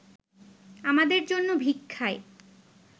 আমাদের জন্য ভিক্ষায়